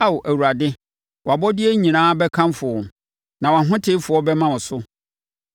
Ao Awurade, wʼabɔdeɛ nyinaa bɛkamfo wo; na wʼahotefoɔ bɛma wo so.